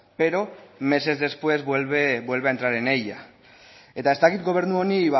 pero meses después vuelve a entrar en ella eta ez dakit gobernu honi